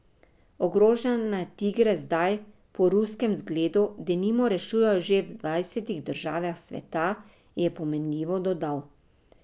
Toča je tokrat spet klestila na območju, kjer je že lani prizadejala precej škode, letošnja bo pravijo poznavalci še veliko večja.